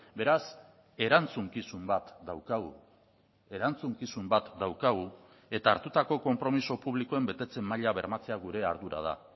beraz erantzukizun bat daukagu erantzukizun bat daukagu eta hartutako konpromiso publikoen betetze maila bermatzea gure ardura da